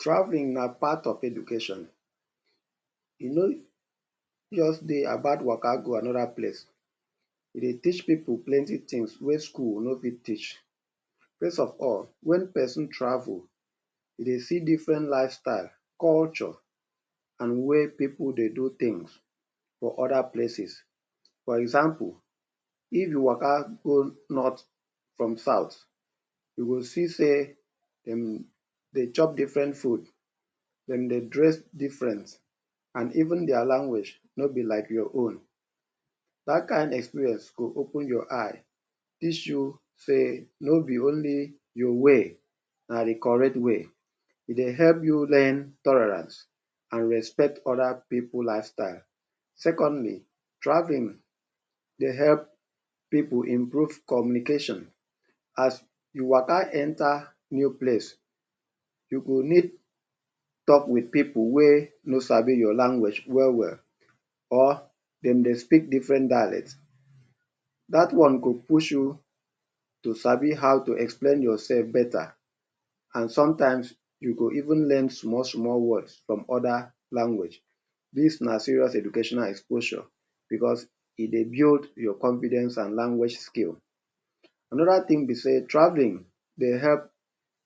Traveling na part of education. E no just dey about waka go another place, e dey teach pipu plenty things wey school no fit teach. First of all, wen person travel e dey see different lifestyle, culture and way pipu dey do things for other places. For example, if you waka go north from south you go see sey dem dey chop different food. Dem dey dress different and even their language no be like your own. Dat kain experience go open your eye, teach you sey no be only your way na de correct way. E dey help you learn tolerance and respect other pipu lifestyle. Secondly, traveling dey help pipu improve communication. As you waka enter new place, you go need talk wit pipu wey no sabi your language well well or dem dey speak different dialect. Dat one go push you to sabi how to explain yourself better and sometimes you go even learn small small word from other language. Dis na serious educational exposure because e dey build your confidence and language skill. Another thing be sey travelling dey help